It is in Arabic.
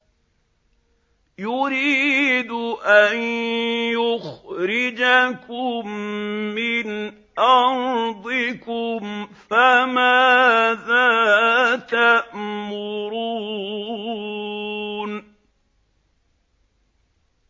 يُرِيدُ أَن يُخْرِجَكُم مِّنْ أَرْضِكُمْ ۖ فَمَاذَا تَأْمُرُونَ